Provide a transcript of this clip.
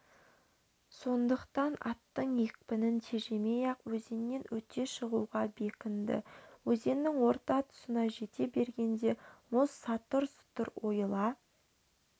сондықтан аттың екпінін тежемей-ақ өзеннен өте шығуға бекінді өзеннің орта тұсына жете бергенде мұз сатұр-сұтыр ойыла